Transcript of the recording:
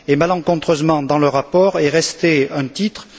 Malencontreusement, dans le rapport est resté un titre.